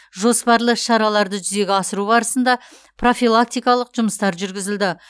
жоспарлы іс шараларды жүзеге асыру барысында профилактикалық жұмыстар жүргізілді